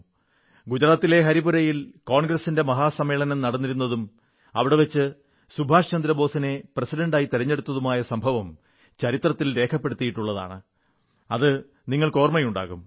ഗുജറാത്തിലെ ഹരിപുരയിൽ കോൺഗ്രസിന്റെ മഹാസമ്മേളനം നടന്നിരുന്നതും അവിടെ വച്ച് സുഭാഷ് ചന്ദ്രബോസിനെ പ്രസിഡന്റായി തിരഞ്ഞെടുത്തതുമായ സംഭവം ചരിത്രത്തിൽ രേഖപ്പെടുത്തപ്പെട്ടിട്ടുള്ളത് നിങ്ങൾക്ക് ഓർമ്മയുണ്ടാകും